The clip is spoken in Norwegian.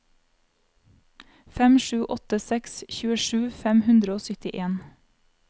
fem sju åtte seks tjuesju fem hundre og syttien